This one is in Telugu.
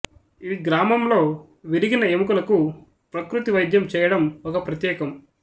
ఈ గ్రామంలో విరిగిన ఎముకలకు ప్రకృతి వైద్యం చేయడం ఒక ప్రత్యేకం